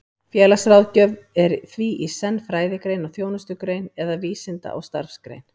Félagsráðgjöf er því í senn fræðigrein og þjónustugrein, eða vísinda- og starfsgrein.